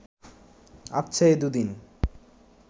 আচ্ছা, এ দুদিন